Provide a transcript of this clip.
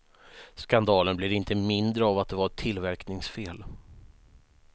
Skandalen blir inte mindre av att det var ett tillverkningsfel.